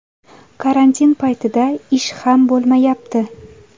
Karantin paytida ish ham bo‘lmayapti.